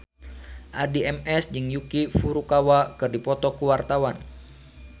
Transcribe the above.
Addie MS jeung Yuki Furukawa keur dipoto ku wartawan